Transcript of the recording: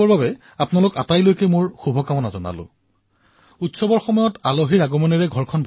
মোৰ মৰমৰ ভাতৃভগ্নীসকল দিপাৱলীত সৌভাগ্য আৰু সমৃদ্ধিৰ ৰূপত ঘৰলৈ লক্ষ্মীৰ আগমন হয়